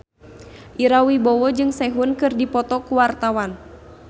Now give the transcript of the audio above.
Ira Wibowo jeung Sehun keur dipoto ku wartawan